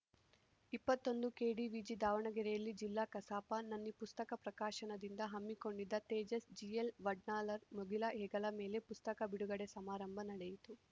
ಇಪ್ಪತ್ತೊಂದು ಕೆಡಿವಿಜಿ ದಾವಣಗೆರೆಯಲ್ಲಿ ಜಿಲ್ಲಾ ಕಸಾಪ ನನ್ನಿ ಪುಸ್ತಕ ಪ್ರಕಾಶನದಿಂದ ಹಮ್ಮಿಕೊಂಡಿದ್ದ ತೇಜಸ್‌ ಜಿಎಲ್‌ವಡ್ನಾಳ್‌ರ ಮುಗಿಲ ಹೆಗಲ ಮೇಲೆ ಪುಸ್ತಕ ಬಿಡುಗಡೆ ಸಮಾರಂಭ ನಡೆಯಿತು